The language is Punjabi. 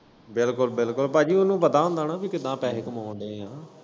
ਬਿਲਕੁੱਲ ਬਿਲਕੁੱਲ ਭਾਜੀ ਉਨੂੰ ਪਤਾ ਹੁੰਦਾ ਨਾ ਕਿ ਕਿੱਦਾ ਪੈਹੇ ਕਮਾਨ ਦੇ ਆ।